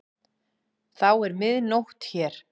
Þá er mið nótt hér.